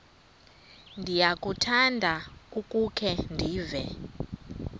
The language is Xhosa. ndiyakuthanda ukukhe ndive